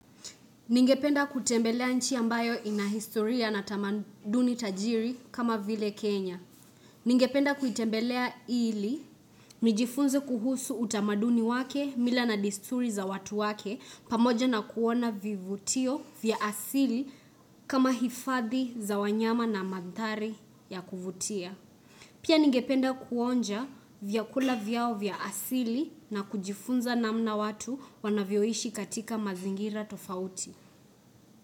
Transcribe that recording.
Ningependa kutembelea nchi ambayo ina historia na tamaduni tajiri kama vile Kenya. Ningependa kutembelea ili, nijifunze kuhusu utamaduni wake, mila na desturi za watu wake pamoja na kuona vivutio vya asili kama hifadhi za wanyama na mandhari ya kuvutia. Pia ningependa kuonja vyakula vyao vya asili na kujifunza namna watu wanavyoishi katika mazingira tofauti.